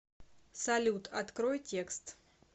салют открой текст